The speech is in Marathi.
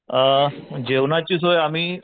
अ जेवणाची सोय आम्ही,